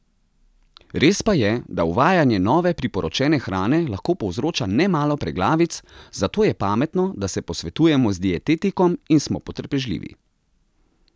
Res pa je, da uvajanje nove, priporočene hrane lahko povzroča nemalo preglavic, zato je pametno, da se posvetujemo z dietetikom in smo potrpežljivi.